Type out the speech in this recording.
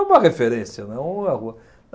É uma referência, né, não é uma rua.